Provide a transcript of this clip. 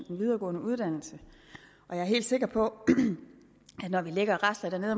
en videregående uddannelse jeg er helt sikker på at når vi ligger og rasler nede